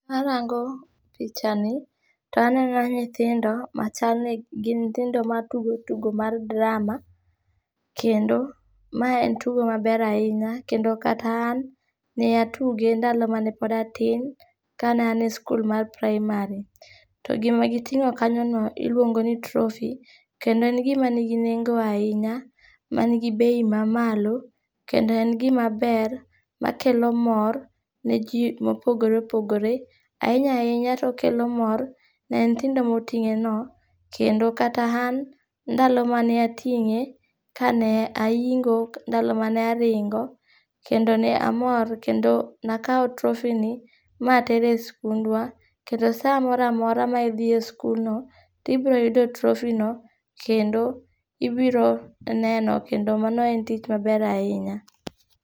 Arango pichani, to aneno nyithindo machalni gin nyithindo matugo tugo mar drama, kendo mae en tugo maber ahinya, kendo kata an, ne atuge ndalo mane pod atin, ka ne ane skul mar primary. To gima gitingó kanyono, iluongo ni trophy, kendo en gima nigi nengo ahinya, manigi bei ma malo. Kendo en gima ber, makelo mor, ne ji mopogore opogore. Ahinya ahinya, to okelo mor, ne nyithindo motingéno, kendo kata an, ndalo mane atingé, kane aingo ndalo mane aringo, kendo ne amor, kendo ne akawo trophy ni ma atere skundwa, kendo saa moramora ma idhi e skundno, tibroyudo trophy no, kendo inbiro neno, kendo mano en tich maber ahinya.